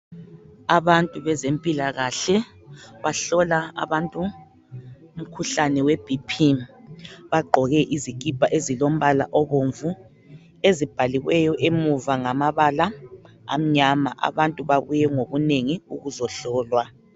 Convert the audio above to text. Abantu bezempilakahle bahlola abantu umkhuhlane weBP. Bagqoke izikipha ezilombala obomvu ezibhaliweyo emuva ngambala amnyama. Abantu babuye ngobunengi ukuzohlolwa